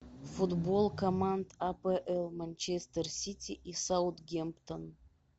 футбол команд апл манчестер сити и саутгемптон